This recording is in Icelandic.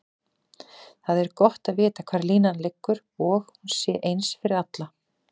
Það er gott að vita hvar línan liggur og hún sé eins fyrir alla.